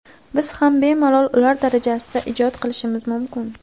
Biz ham bemalol ular darajasida ijod qilishimiz mumkin.